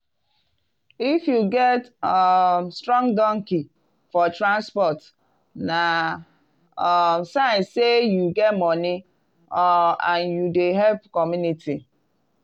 if you get um strong donkey for transport na um sign say you get money um and you dey help community.